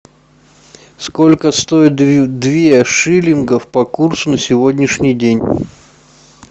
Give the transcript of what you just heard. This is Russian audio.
сколько стоит две шиллингов по курсу на сегодняшний день